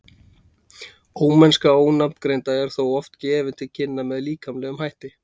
ómennska ofangreindra er þó oft gefin til kynna með líkamlegum hætti